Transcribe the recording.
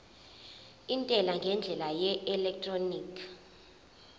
intela ngendlela yeelektroniki